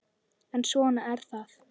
En svona er það.